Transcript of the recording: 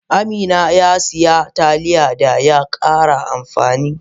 Amina ya sayi Taliya da ya kare amfani.